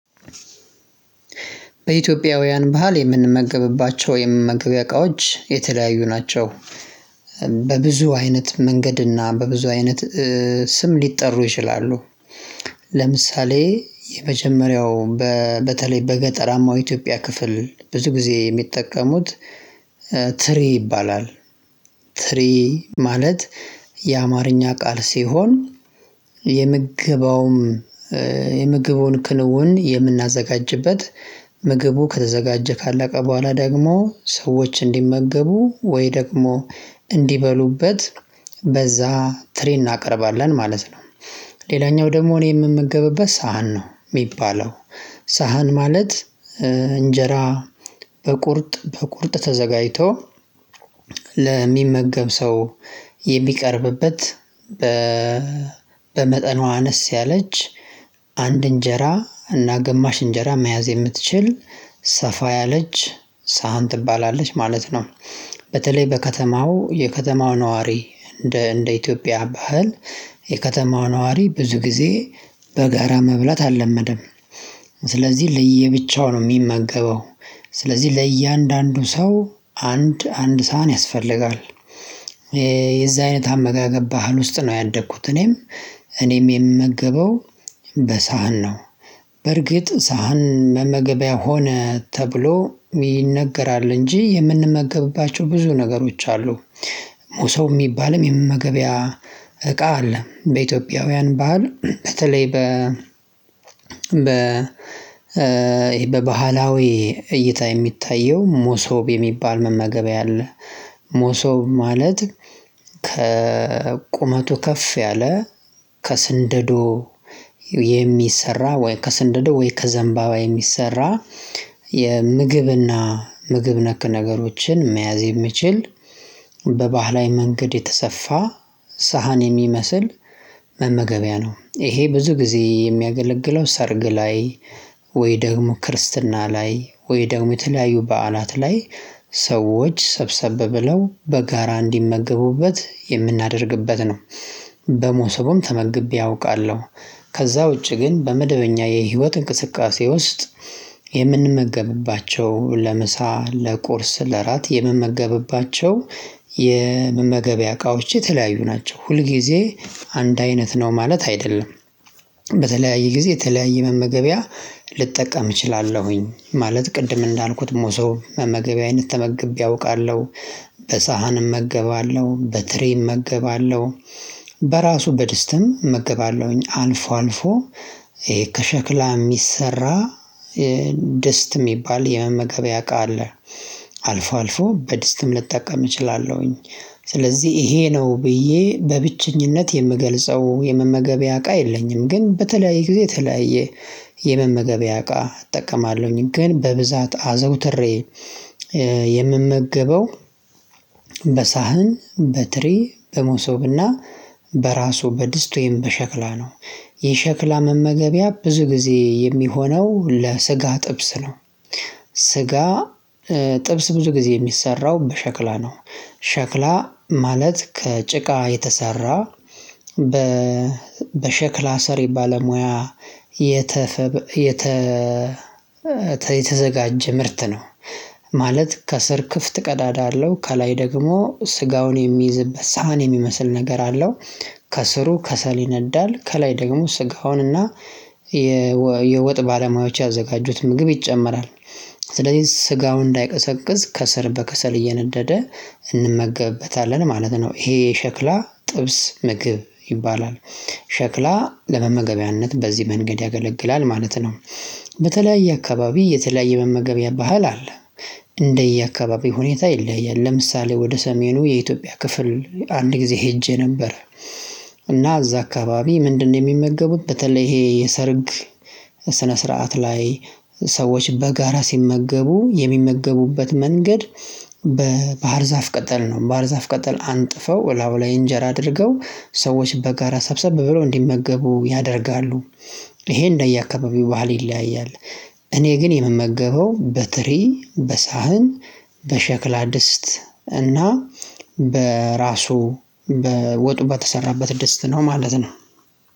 በኢትዮጵያውያን ባህል የምንመገብባቸው የምንመገቢያቃዎች የተለያዩ ናቸው በብዙ አይነት መንገድና በብዙ አይነት ስም ሊጠሩ ይችላሉ። ለምሳሌ የመጀመሪያው በተለይ በገጠራማው ኢትዮጵያ ክፍል ብዙ ጊዜ የሚጠቀሙት ትሪ ይባላል። ትሪ ማለት የአማርኛ ቃል ሲሆን። የምግቡን ክንውን የምናዘጋጅበት ምግቡ ከተዘጋጀ ካለቀ በኋላ ደግሞ ሰዎች እንዲመገቡ ወይ ደግሞ እንዲበሉበት በዛ ትሪ እናቀርባለን ማለት ነው። ሌላኛው ደግሞ እኔ የምመገብበት ሳህን ነው የሚባለው ሳህን ማለት እንጀራ። በቁርጥ ተዘጋጅቶ ለሚመገብ ሰው የሚቀርብበት በመጠኗ አነስ ያለች አንድ እንጀራ እና ገማሽ እንጀራ መያዝ የምትችል ሰፋ ያለች ሳህን ትባላለች ማለት ነው። በተለይ በከተማው የከተማው ነዋሪ እንደ እንደ ኢትዮጵያ ባህል የከተማው ነዋሪ ብዙ ጊዜ በጋራ መብላት አልለመደም። ስለዚህ ለየብቻው ነው የሚመገበው። ስለዚህ ለእያንዳንዱ ሰው አንድ አንድ ሳህን ያስፈልጋል። የዛ አይነት አመጋገብ ባህል ውስጥ ነው ያደግኩት እኔም እኔም የምመገበው በሳህን ነው። በርግጥ ሳህን መመገቢያ ሆነ ተብሎ ይነገራል እንጂ የምንመገብባቸው ብዙ ነገሮች አሉ። ሙሶ የሚባልም የመገበያ እቃ አለ በኢትዮጵያውያን ባህል በተለይ በ በባህላዊ እይታ የሚታየው መሶብ የሚባል መመገቢያ አለ። መሶብ ማለት ከቁመቱ ከፍ ያለ ከስንደዶ የሚሰራ ወይ ከስንደዶ ወይ ከዘንባባ የሚሰራ የምግብና ምግብ ነክ ነገሮችን መያዝ የሚችል በባህላዊ መንገድ የተሰፋ ሳህን የሚመስል መመገቢያ ነው። እሄ ብዙ ጊዜ የሚያገለግለው ሰርግ ላይ ወይ ደግሞ ክርስትና ላይ ወይ ደግሞ የተለያዩ በዓላት ላይ ሰዎች ሰብሰብ ብለው በጋራ እንዲመገቡበት የምናደርግበት ነው። በመሶብም ተመግቤ አውቃለሁ። ከዛ ውጪ ግን በመደበኛ የህይወት እንቅስቃሴ ውስጥ የምንመገብባቸው ለምሳ ለቁርስ ለእራት የምመገብባቸው። እቃዎች የተለያዩ ናቸው ሁልጊዜ አንድ አይነት ነው ማለት አይደለም። በተለያየ ጊዜ የተለያየ መመገቢያ ልጠቀም እችላለሁኝ ማለት ቅድም እንዳልኩት በመሶብ መመገቢያ አይነት ተመግቤ አውቃለሁ። በሳህንም እመገባለሁ በትሪ እመገባለሁ። በራሱ በደስትም እመግባለሁኝ አልፎ አልፎ። ከሸክላ የሚሰራ ድስት የሚባል የመመገቢያ እቃ አለ። አልፎ አልፎ በድስትም ልጠቀም እችላለሁኝ። ስለዚህ ይሄ ነው ብዬ በብቸኝነት የምገልጸው የመመገቢያ አቃ የለኝም። ግን በተለያዩ ጊዜ ተለያየ የመመገቢያ እቃ እጠቀማለሁኝ ግን በብዛት አዘውትሬ። የምመገበው በሳህን በትሪ በመሶብና በራሱ በድስት ወይም በሸክላ ነው። የሸክላ መመገቢያ ብዙ ጊዜ የሚሆነው ለስጋ ጥብስ ነው። ስጋ ጥብስ ብዙ ጊዜ የሚሰራው በሸክላ ነው። ሸክላ ማለት ከጭቃ የተሰራ በ በሸክላ ሰሪ የባለ ሙያ የተፈበረከ የተዘጋጀ ምርት ነው። ማለት ከስር ክፍት ቀዳዳ አለው ከላይ ደግሞ ስጋውን የሚይዝበት ሳህን የሚመስል ነገር አለው። ከስሩ ከሰል ይነዳል ከላይ ደግሞ ስጋውንና የወጥ ባለሙያዎች ያዘጋጁት ምግብ ይጨመራል። ስለዚህ ስጋው እንዳይቀዘቅዝ ከስር በከሰል እየነደደ እንመገብበታለን ማለት ነው። ይሄ ሸክላ ጥብስ ምግብ ይባላል። ሸክላ ለመመገቢያነት በዚህ መንገድ ያገለግላል ማለት ነው። በተለያየ አካባቢ የተለያየ መመገብያ ባህል አለ። እንደየአካባቢ ሁኔታ ይለያያል ለምሳሌ ወደ ሰሜኑ የኢትዮጵያ ክፍል አንድ ጊዜ ሄጄ ነበር። እና እዛ አካባቢ ምንድነው የሚመገቡት በተለይ ይሄ የሰርግ ስነ ስርዓት ላይ? ሰዎች በጋራ ሲመገቡ የሚመገቡበት መንገድ። በባህር ዛፍ ቅጠል ነው ባህር ዛፍ ቅጠል አንጥፈው ኡላው ላይ እንጀራ አድርገው ሰዎች በጋራ ሰብሰብ ብሎ እንዲመገቡ ያደርጋሉ። ይሄ እንደየአካባቢው ባህል ይለያያል። እኔ ግን የምመገበው በትሪ በሳህን በሸክላ ድስት እና በራሱ በወጡ በተሰራበት ድስት ነው ማለት ነው።